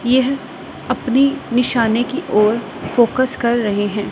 यह अपनी निशाने की ओर फोकस कर रहे हैं।